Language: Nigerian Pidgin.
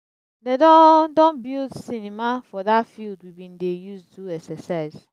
dem don don build cinema for that field we bin dey use do exercise